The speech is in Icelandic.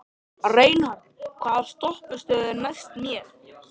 Reinhart, hvaða stoppistöð er næst mér?